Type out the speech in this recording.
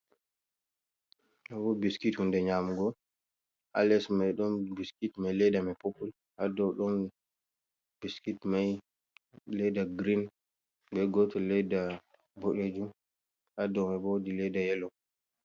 Ɗo bo biskit hunde nyamugo, ha les mai ɗon biskit mai ledda mai popul, ha dou ɗon biskit mai ledda grin, be goto ledda boɗejum, ha dou mai bo wodi ledda yelo.